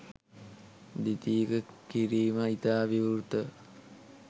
ද්විතීක කිරීම ඉතා විවෘතව